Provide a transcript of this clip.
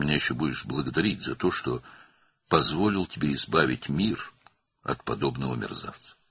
Sən mənə hələ minnətdar olacaqsan ki, sənə dünyanı belə bir alçaqdan qurtarmağa icazə verdim.